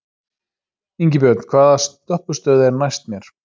Ingibjörn, hvaða stoppistöð er næst mér?